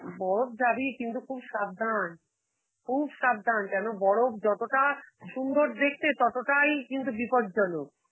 বরফ যাবি কিন্তু খুব সাবধান, খুব সাবধান কেনো বরফ যতটা সুন্দর দেখতে ততটাই কিন্তু বিপদজনক.